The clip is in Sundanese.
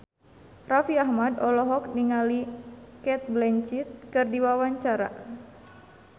Raffi Ahmad olohok ningali Cate Blanchett keur diwawancara